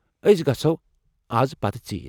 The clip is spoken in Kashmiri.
أسۍ گژھو از پتہٕ ژیٖرِ۔